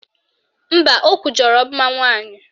Mba, o kwujọrọ mmanwụ anyị